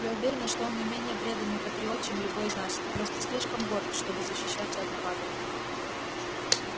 я уверена что он не менее преданный патриот чем любой из нас и просто слишком горд чтобы защищаться от нападок